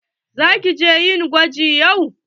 Za ki je yin gwaji yau?